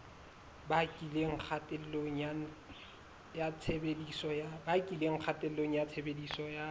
bakileng kgatello ya tshebediso ya